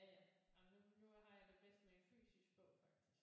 Ja ja men nu nu har jeg det bedst med en fysisk bog faktisk